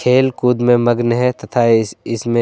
खेल कूद में मगन है तथा इस इसमें--